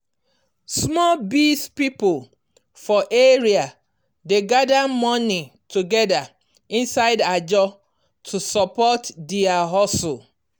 small biz people for area dey gather money together inside ajo to support dia hustle.